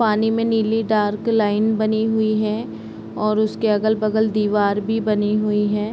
पानी में नीली डार्क लाइन बनी हुई है और उसके अगल-बगल दीवार भी बनी हुई है।